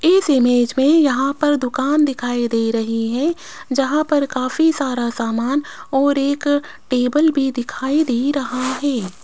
इस इमेज में यहां पर दुकान दिखाई दे रही है जहां पर काफी सारा सामान और एक टेबल भी दिखाई दे रहा है।